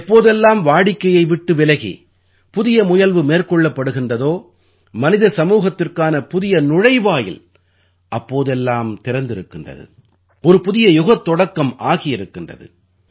எப்போதெல்லாம் வாடிக்கையை விட்டு விலகி புதிய முயல்வு மேற்கொள்ளப்படுகின்றதோ மனித சமுதாயத்திற்கான புதிய நுழைவாயில் அப்போதெல்லாம் திறந்திருக்கிறது ஒரு புதிய யுகத் தொடக்கம் ஆகியிருக்கின்றது